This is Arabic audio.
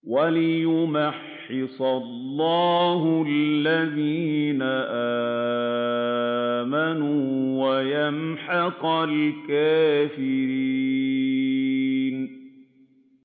وَلِيُمَحِّصَ اللَّهُ الَّذِينَ آمَنُوا وَيَمْحَقَ الْكَافِرِينَ